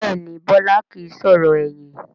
Bẹ́ẹ̀ni Bọlá kìí sọ̀rọ̀ ẹ̀yìn